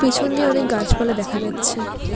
পিছন দিয়ে অনেক গাছপালা দেখা যাচ্ছে।